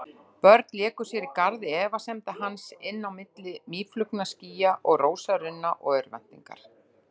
Börn léku sér í garði efasemda hans, inn á milli mýflugnaskýja og rósarunna og örvæntingar.